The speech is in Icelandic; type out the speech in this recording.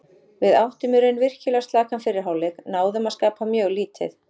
Við áttum í raun virkilega slakan fyrri hálfleik, náðum að skapa mjög lítið.